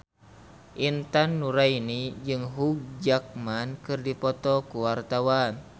Intan Nuraini jeung Hugh Jackman keur dipoto ku wartawan